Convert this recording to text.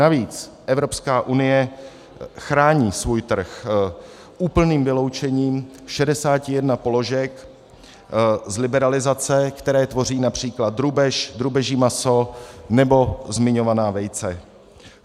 Navíc Evropská unie chrání svůj trh úplným vyloučením 61 položek z liberalizace, které tvoří například drůbež, drůbeží maso nebo zmiňovaná vejce.